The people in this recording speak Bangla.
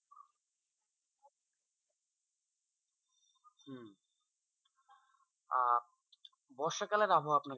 আহ বর্ষাকালের আবহাওয়া আপনাকে,